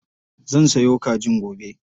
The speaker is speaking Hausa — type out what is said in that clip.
Zan sayo kajin gobe.